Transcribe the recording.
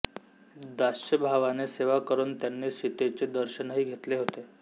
दास्यभावाने सेवा करून त्यांनी सीतेचे दर्शनही घेतले होते